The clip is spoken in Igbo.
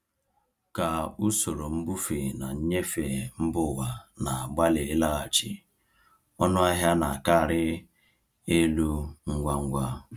Ka usoro mbufe na nnyefe mba ụwa na-agbalị ịlaghachi, ọnụ ahịa na-akarị elu ngwa ngwa.